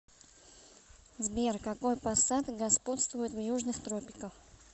сбер какой пассат господствует в южных тропиках